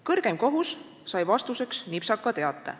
Kõrgeim kohus sai vastuseks nipsaka teate.